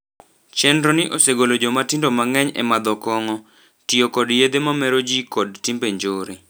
Chenro ni osegolo jomatindo mang'eny e madho kong'o, tio kod yedhe mamero jii kod timbe njore.